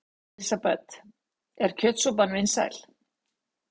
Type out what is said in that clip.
Elísabet: Er kjötsúpan vinsæl?